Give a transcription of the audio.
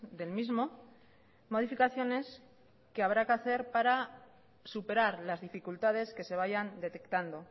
del mismo modificaciones que habrá que hacer para superar las dificultades que se vayan detectando